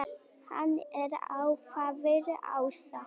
Hann er alfaðir ása.